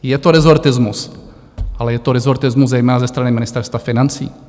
Je to rezortismus, ale je to rezortismus zejména ze strany Ministerstva financí.